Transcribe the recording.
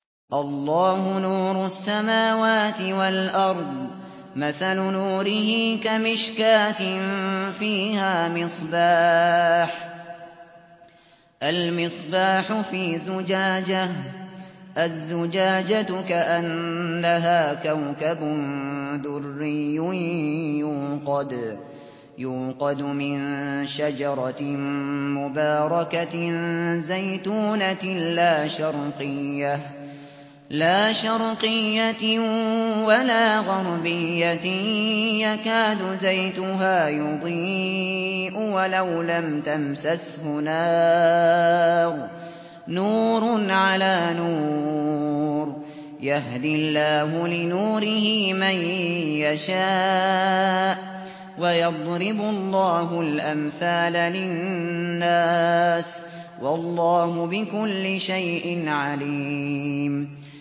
۞ اللَّهُ نُورُ السَّمَاوَاتِ وَالْأَرْضِ ۚ مَثَلُ نُورِهِ كَمِشْكَاةٍ فِيهَا مِصْبَاحٌ ۖ الْمِصْبَاحُ فِي زُجَاجَةٍ ۖ الزُّجَاجَةُ كَأَنَّهَا كَوْكَبٌ دُرِّيٌّ يُوقَدُ مِن شَجَرَةٍ مُّبَارَكَةٍ زَيْتُونَةٍ لَّا شَرْقِيَّةٍ وَلَا غَرْبِيَّةٍ يَكَادُ زَيْتُهَا يُضِيءُ وَلَوْ لَمْ تَمْسَسْهُ نَارٌ ۚ نُّورٌ عَلَىٰ نُورٍ ۗ يَهْدِي اللَّهُ لِنُورِهِ مَن يَشَاءُ ۚ وَيَضْرِبُ اللَّهُ الْأَمْثَالَ لِلنَّاسِ ۗ وَاللَّهُ بِكُلِّ شَيْءٍ عَلِيمٌ